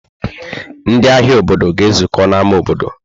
Ndị ahịa obodo ga-ezukọ n'ámá obodo.